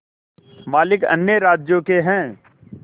मालिक अन्य राज्यों के हैं